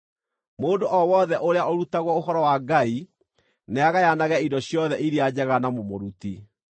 Mũndũ o wothe ũrĩa ũrutagwo ũhoro wa Ngai nĩagayanage indo ciothe iria njega na mũmũruti.